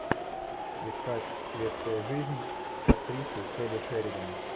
искать светская жизнь с актрисой келли шеридан